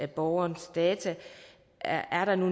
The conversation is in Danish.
borgere